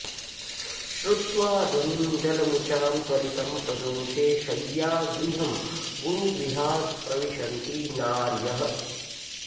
श्रुत्वा ध्वनिं जलमुचां त्वरितं प्रदोषे शय्यागृहं गुरुगृहात् प्रविशन्ति नार्यः